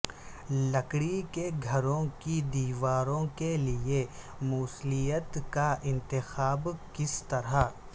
لکڑی کے گھروں کی دیواروں کے لئے موصلیت کا انتخاب کس طرح